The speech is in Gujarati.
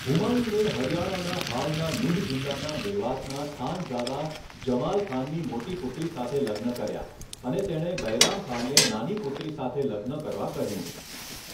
હુમાયુને હરિયાણાના હાલના નૂહ જિલ્લાના મેવાતના ખાનઝાદા જમાલ ખાનની મોટી પુત્રી સાથે લગ્ન કર્યા અને તેણે બૈરામ ખાનને નાની પુત્રી સાથે લગ્ન કરવા કહ્યું.